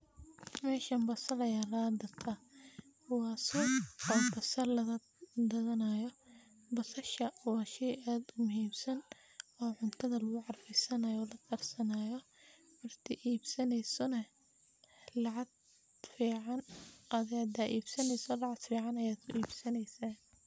Meshan basal ayaa lagagatah, wa suq oo basal lagagadanayo, basasha wa shey ad u muhimsan oo cuntadha lagucarfisanayo oo lakarsanayo, marki ibsaneyso na lacag fican aya kuibsaneysaah.